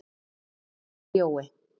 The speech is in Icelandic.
Afi Jói.